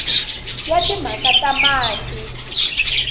ya timhaka ta mati na